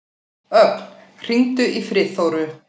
Ögn, hringdu í Friðþóru.